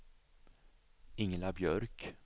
Ingela Björk